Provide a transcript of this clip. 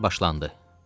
Nitqlər başlandı.